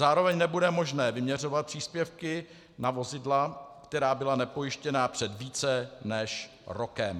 Zároveň nebude možné vyměřovat příspěvky na vozidla, která byla nepojištěna před více než rokem.